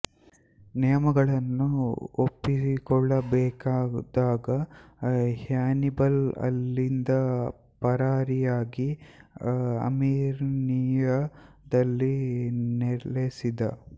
ನಿಯಮಗಳನ್ನು ಒಪ್ಪಿಕೊಳ್ಳಬೇಕಾದಾಗ ಹ್ಯಾನಿಬಲ್ ಅಲ್ಲಿಂದ ಪರಾರಿಯಾಗಿ ಅರ್ಮಿನಿಯಾ ದಲ್ಲಿ ನೆಲೆಸಿದ